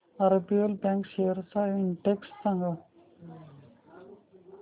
RBL bank shares चा index सांगा